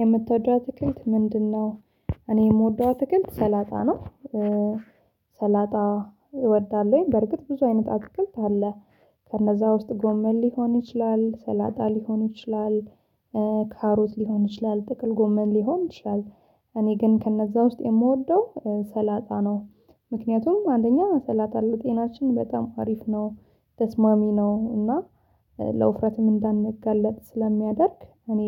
የምትወደው አትክልት ምንድ ነው? እኔ የምወደው አትክልት ሰላጣ ነው። ሰላጣ እወዳለሁኝ በእርግጥ ብዙ አይነት አቅልት አለ። ከነዛ ውስጥ ጎመል ሊሆን ይችላል ሰላጣ ሊሆን ይችላል። ካሮዝ ሊሆን ይችላል ጥቅል ጎመን ሊሆን ይችላል። እኔ ግን ከእነዛ ውስጥ የምወደው ሰላጣ ነው። ምክንያቱም አንደኛ ሰላጣ ለጤናችን በጣም አሪፍ ነው ተስማሚ ነው እና ለውፍረትም እንዳነጋለት ስለሚያደርግ እኔ